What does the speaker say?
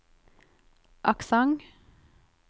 aksent